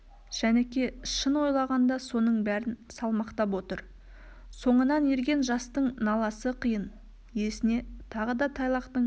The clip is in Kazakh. жәніке шын ойлағанда соның бәрін салмақтап отыр соңынан ерген жастың наласы қиын есіне тағы да тайлақтың